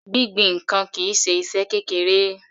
Gbingbin ǹkan kìí ṣe iṣẹ́ kékeré.